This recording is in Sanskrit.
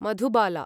मधुबाला